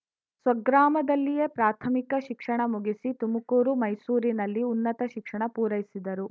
ಸ್ವಗ್ರಾಮದಲ್ಲಿಯೇ ಪ್ರಾಥಮಿಕ ಶಿಕ್ಷಣ ಮುಗಿಸಿ ತುಮಕೂರು ಮೈಸೂರಿನಲ್ಲಿ ಉನ್ನತ ಶಿಕ್ಷಣ ಪೂರೈಸಿದರು